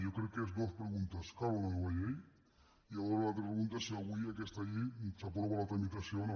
jo crec que són dues preguntes cal una nova llei i llavors l’altra pregunta és si avui d’aquesta llei se n’aprova la tramitació o no